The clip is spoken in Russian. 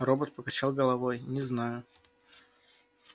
робот покачал головой не знаю